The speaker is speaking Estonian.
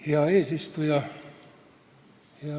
Hea eesistuja!